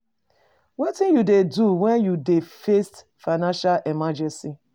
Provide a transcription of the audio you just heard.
Wetin you dey do when you dey face financial emergency?